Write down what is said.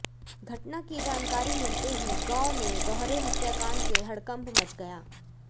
घटना की जानकारी मिलते ही गांव में दोहरे हत्या कांड से हड़कंप मच गया